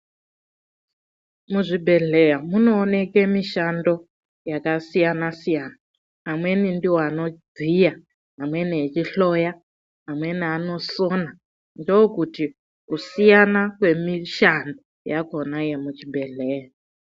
Muzvibbhedhleya munooneke mishando yakasiyana siyana. Vamweni ndiwo anobviya, vamweni vechihloya, amweni anosona ndokuti kusiyana kwemishando yakona yemuc hibhedhleya